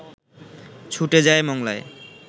ছুটে যায় মংলায়